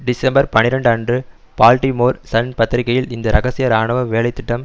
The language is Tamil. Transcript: டிசம்பர் பனிரண்டு அன்று பால்டிமோர் சன் பத்திரிகையில் இந்த ரகசிய ராணுவ வேலை திட்டம்